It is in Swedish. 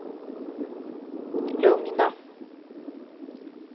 lugna